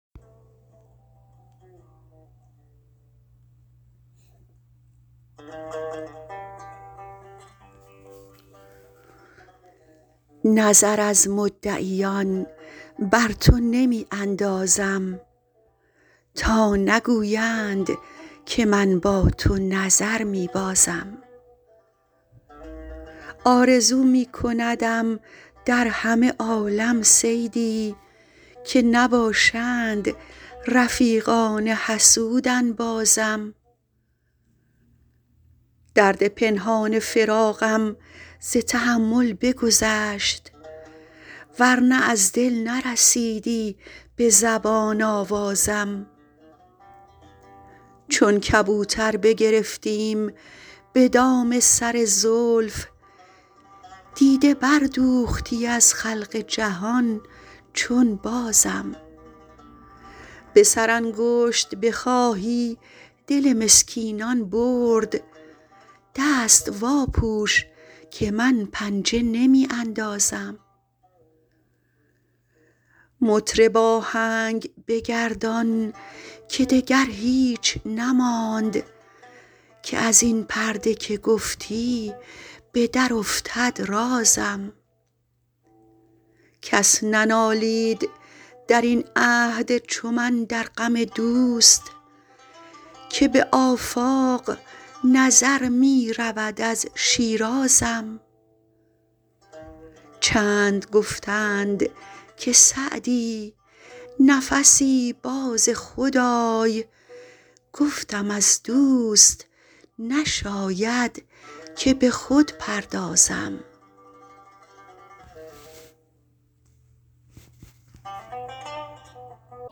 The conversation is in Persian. نظر از مدعیان بر تو نمی اندازم تا نگویند که من با تو نظر می بازم آرزو می کندم در همه عالم صیدی که نباشند رفیقان حسود انبازم درد پنهان فراقم ز تحمل بگذشت ور نه از دل نرسیدی به زبان آوازم چون کبوتر بگرفتیم به دام سر زلف دیده بردوختی از خلق جهان چون بازم به سرانگشت بخواهی دل مسکینان برد دست واپوش که من پنجه نمی اندازم مطرب آهنگ بگردان که دگر هیچ نماند که از این پرده که گفتی به درافتد رازم کس ننالید در این عهد چو من در غم دوست که به آفاق نظر می رود از شیرازم چند گفتند که سعدی نفسی باز خود آی گفتم از دوست نشاید که به خود پردازم